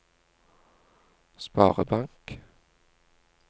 sparebank